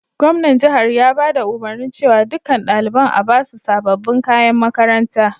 Gwamnan jihar ya baɗa umurni cewa ɗukan ɗalibain a'basu sabobin kayan makaranta.